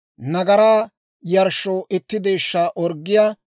nagaraa yarshshoo itti deeshshaa orggiyaa;